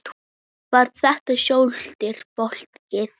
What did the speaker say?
Var þetta svolítið flókið?